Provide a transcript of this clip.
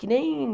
Que nem...